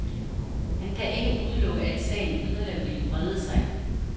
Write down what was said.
Han kan ikke udelukke, at sagen yderligere vil brede sig.